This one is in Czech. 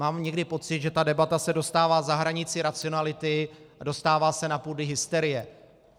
Mám někdy pocit, že ta debata se dostává za hranici racionality a dostává se na půdu hysterie.